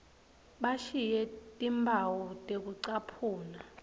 bashiye timphawu tekucaphuna